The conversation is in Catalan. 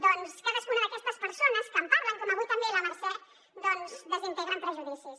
doncs cadascuna d’aquestes persones que en parlen com avui també la mercè desintegren prejudicis